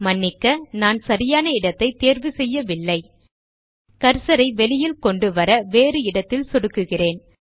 மன்னிக்க நான் சரியான இடத்தைத் தேர்வு செய்யவில்லை கர்சர் ஐ வெளியில் கொண்டுவர வேறு இடத்தில் சொடுக்குகிறேன்